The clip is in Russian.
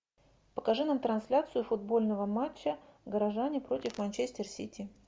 покажи нам трансляцию футбольного матча горожане против манчестер сити